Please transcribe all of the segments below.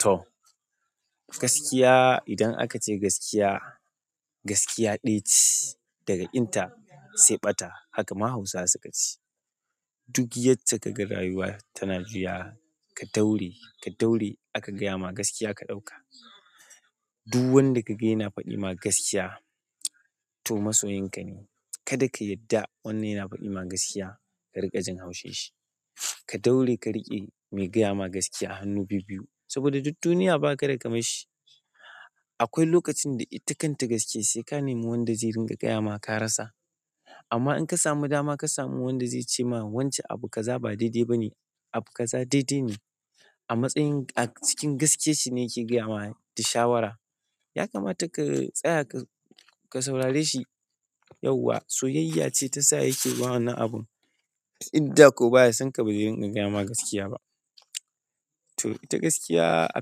To gaskiya idan aka ce gaskiya, gaskiya ɗaya ce daga ƙinta sai ɓata haka ma Hausawa suka ce. Duk yadda kaga rayuwa tana juyawa ka daure ka daure aka gaya ma gaskiya ka ɗauka. Duk wanda ka gani yana faɗi ma gaskiya to masoyinka ne. Kada ka yadda wanda yana faɗi ma gaskiya ka riƙa jin haushi shi. Ka daure ka riƙe mai gaya ma gaskiya a hannu biyu biyu saboda duk duniya ba kada kamar shi. Akwai lokacin da ita kanta gaskiya sai ka nemi wanda zai ringa gaya ma ka rasa. Amma in ka samu dama ka samu wanda zai cema "wance abu kaza ba daidai bane abu kaza daidaine" a matsayin a cikin gaskiyan shi ne yake gayama ta shawara ya kamata ka tsaya ka saurare shi yauwa soyayya ce ta sa yake yi ma wannan abun. Inda ko baya sonka ba zai rinƙa gaya ma gaskiya ba. To ita gaskiya a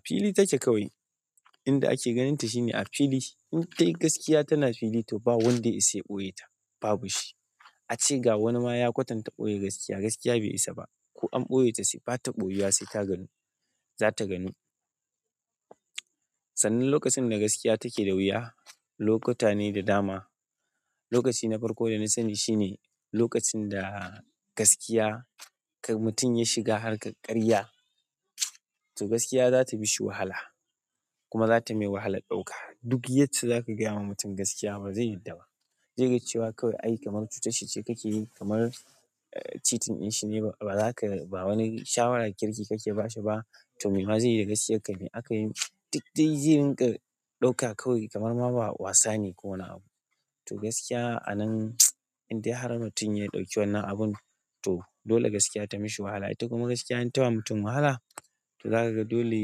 fili take kawai. Inda ake ganin ta shine a fili shi. In dai gaskiya tana fili to ba wanda ya isa ya ɓoye ta babu shi. Ace ga wani ma ya kwatanta ɓoye gaskiya, gaskiya bai isa ba. Ko an ɓoye ta bs ta ɓoyewa sai ta ganu, za ta ganu. Sannan lokacin da gaskiya take da wuya, lokuta ne da dama. Lokaci na farko da na sani shine lokacin da gaskiya ka mutum ya shiga harkar ƙarya to gaskiya za ta mishi wahala kuma za ta mai wahalan ɗauka. Duk yacce zaka gaya wa mutum gaskiya ba zai yadda ba. Zai ga cewa kawai aiki kamar cutar ce kake yi kamar cheating ɗin shine ba wani shawara kirki kake ba shi ba to me ma zai yi da gaskiyar ka ne? A kan yi duk dai zai ringa ɗauka kawai kamar ma ba wasa ne ko wane abu. To gaskiya a nan in dai har mutum ya ɗauki wannan abun to dole gaskiya ta mishi wahala. Ita kuma gaskiya in ta ba mutum wahala to zaka ga dole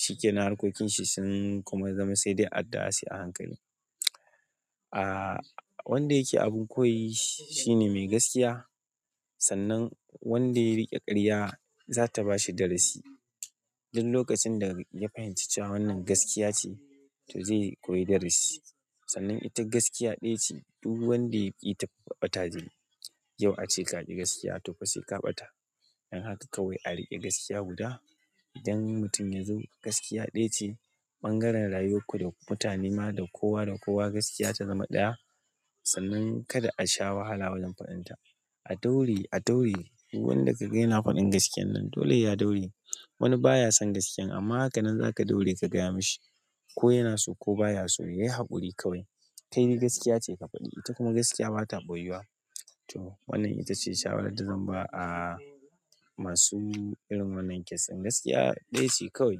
shi ke na harkokin shi sun kuma zama sai dai adda sai a hankali. Ah wanda yake abin koyi shi ne mai gaskiya. Sannan wanda ya riƙe ƙarya za ta bashi darasi. Don lokacin da ya fahimci cewa wannan gaskiya ce to zai koyi darasi. Sannan ita gaskiya ɗaya ce duk wanda yaƙita kuwa ɓata zai yi. Yau ace ka ƙi gaskiya to fa sai ka ɓata. Dan haka kawai a riƙi gaskiya guda. Idan mutum ya zo gaskiya ɗaya ce bangaren rayuwar ku da mutane ma da kowa da kowa gaskiya ta zama ɗaya. Sannan kada a sha wahala wajen faɗinta. A daure a daure duk wanda ka gani faɗin gaskiya nan dole ya daure. Wani baya son gaskiyan amma hakan nan za ka daure ka gaya mashi. Ko yana so ko baya so yayi haƙuri kawai. Kai dai gaskiya ce ka faɗi. Ita kuma gaskiya ba ta ɓoyuwa. To wannan ita ce shawaran da zan ba a masu irin wannan case ɗin, gaskiya ɗaya ce kawai.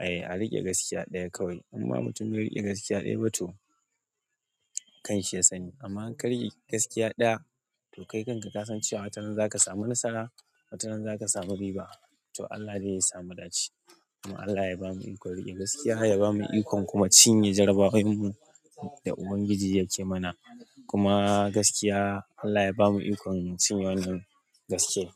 Ai a riƙe gaskiya ɗaya kawai, imma mutum bai riƙe gaskiya ɗaya ba to kanshi ya sani. Amma inka riƙi gaskiya ɗaya to kai kanka ka san cewa wataran za ka samu nasara, wataran za ka samu riba. To Allah dai ya sa mudace. Kuma Allah ya bamu ikon riƙe gaskiya ya bamu ikon kuma cinye jarabawanmu da Ubangiji yake mana. Kuma gaskiya Allah ya bamu ikon cinye wannan gaskiya.